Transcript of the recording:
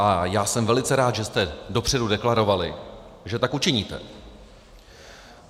A já jsem velice rád, že jste dopředu deklarovali, že tak učiníte.